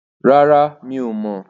Rárá, mi ò mọ̀.